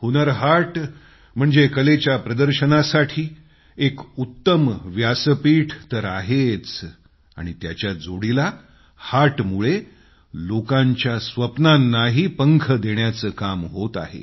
हुन्नर हाट म्हणजे कलेच्या प्रदर्शनासाठी एक उत्तम व्यासपीठ तर आहेच आणि त्याच्याच जोडीला हाटमुळे लोकांच्या स्वप्नांनाही पंख देण्याचं काम होत आहे